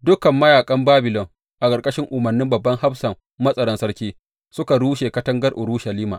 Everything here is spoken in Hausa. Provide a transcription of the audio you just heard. Dukan mayaƙan Babilon a ƙarƙashin umarnin babban hafsan matsaran sarki, suka rushe katangar Urushalima.